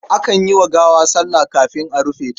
Akan yi wa gawa sallah kafin a rufe ta.